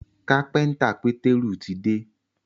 kápẹ́ńtà peteru tí dé